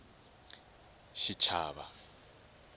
xichava